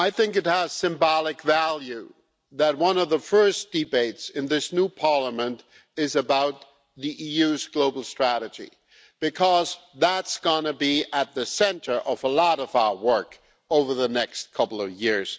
It has symbolic value that one of the first debates in this new Parliament is about the EU's global strategy because that's going to be at the centre of a lot of our work over the next couple of years.